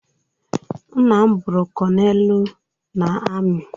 Nna m bụrụ kọnelu na ami.